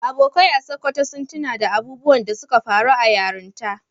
Abokai a Sokoto sun tuno da irin abubuwan da suka faru a yaranta